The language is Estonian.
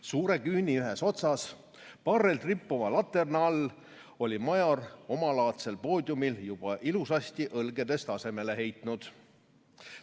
Suure küüni ühes otsas, parrelt rippuva laterna all oli Major omalaadsel poodiumil juba ilusasti õlgedest asemele heitnud.